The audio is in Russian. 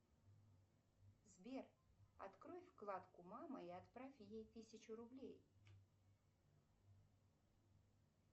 сбер открой вкладку мама и отправь ей тысячу рублей